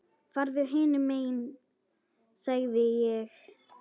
Farðu hinum megin sagði ég.